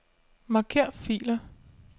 Marker filer.